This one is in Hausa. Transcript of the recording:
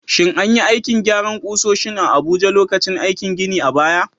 Shin an yi aikin gyaran ƙusoshin a Abuja lokacin aikin gini a baya?